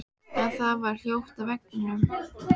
En það var hljótt á veginum.